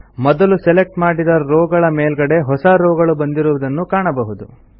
ಮೊದಲು ಸೆಲೆಕ್ಟ್ ಮಾಡಿದ ರೋವ್ ಗಳ ಮೇಲ್ಗಡೆ ಹೊಸ ರೋವ್ ಗಳು ಬಂದಿರುವುದನ್ನು ಕಾಣಬಹುದು